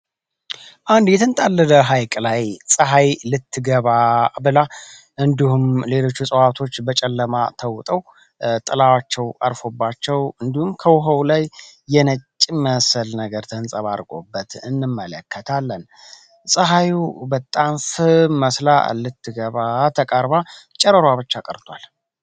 አንድ የተንጣለለ ሐይቅ ላይ ፀሐይ ልትገባ ብላ እንዲሁም ሌሎቹ እጽዋቶች በጨለማ ተውጠው ጥላዋቸው አርፎባቸው እንዲሁም ከውሃው ላይ የነጭ መሰል ነገር ተሕንጸባድቆበት እንመለከታለን ፀሐዩ በጣም ፍም መስላ ልትገባ ተቃርባ ጨረሯ ብቻ ቀርቷል።